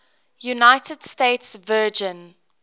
united states virgin